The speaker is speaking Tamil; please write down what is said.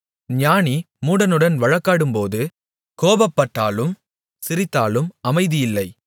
ஞானி மூடனுடன் வழக்காடும்போது கோபப்பட்டாலும் சிரித்தாலும் அமைதியில்லை